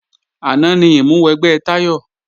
Àná ni ìmúwẹgbẹ́ Táyọ̀